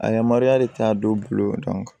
A yamaruyalen t'a dɔw bolo